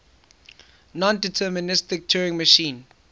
nondeterministic turing machine